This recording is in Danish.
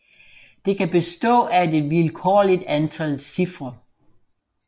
Det kan bestå af et vilkårligt antal cifre